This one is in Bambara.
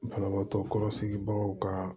Banabaatɔ kɔlɔsibagaw ka